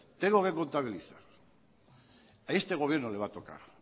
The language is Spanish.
tengo que contabilizar a este gobierno le va a tocar